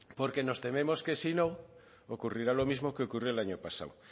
porque nos tememos que si no ocurrirá lo mismo que ocurrió el año pasado